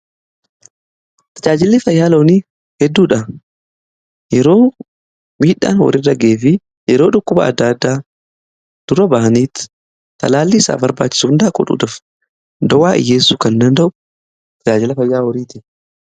Tajaajilli fayyaa loonii hedduudha yeroo miidhaan horiirra ga'ee fi yeroo dhukkuba adda addaa dura ba'aniitti tajaajilli isaa barbaachisuun dhaaquudhuudaf dowaa dhiyeessu kan danda'u tajaajila fayyaa horiiti.